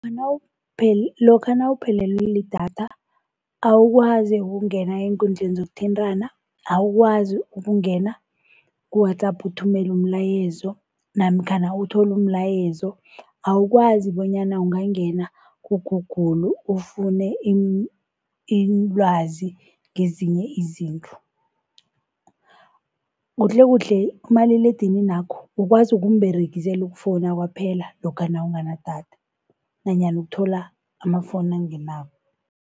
Lokha nawuphelelwe lidatha awukwazi ukungena eenkundleni zokuthintana, awukwazi ukungena ku-WhatsApp uthumele umlayezo namkhana uthole umlayezo. Awukwazi bonyana ungangena ku-Google ufune ilwazi ngezinye izinto. Kuhle kuhle umaliledininakho ukwazi ukumberegisela ukufowuna kwaphela lokha nawunganadatha nanyana ukuthola amafoni angenako.